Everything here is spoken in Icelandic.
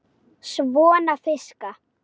Svona fiska.